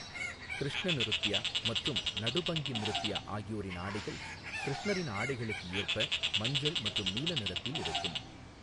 கிருஷ்ண நிருத்யா மற்றும் நடுபங்கி நிருத்யா ஆகியோரின் ஆடைகள் கிருஷ்ணரின் ஆடைகளுக்கு ஏற்ப மஞ்சள் மற்றும் நீல நிறத்தில் இருக்கும்.